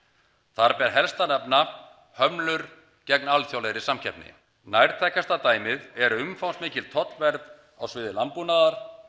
þar ber helst að nefna hömlur gegn alþjóðlegri samkeppni nærtækasta dæmið er umfangsmikil tollvernd á sviði landbúnaðar